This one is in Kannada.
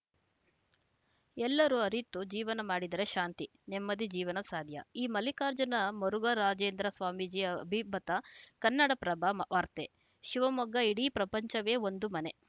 ಎಲ್ಲರೂ ಅರಿತು ಜೀವನ ಮಾಡಿದರೆ ಶಾಂತಿ ನೆಮ್ಮದಿ ಜೀವನ ಸಾಧ್ಯ ಈ ಮಲ್ಲಿಕಾರ್ಜುನ ಮರುಘರಾಜೇಂದ್ರ ಸ್ವಾಮೀಜಿ ಅಭಿಮತ ಕನ್ನಡಪ್ರಭ ವಾರ್ತೆ ಶಿವಮೊಗ್ಗ ಇಡೀ ಪ್ರಪಂಚವೇ ಒಂದು ಮನೆ